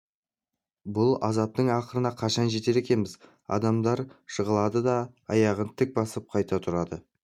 бұл азаптың ақырына қашан жетер екенбіз адамдар жығылады да аяғын тік басып қайта тұрады